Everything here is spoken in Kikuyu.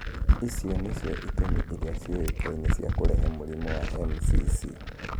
Icio nĩcio itũmi iria ciũĩkaine cia kũrehe mũrimũ wa MCC.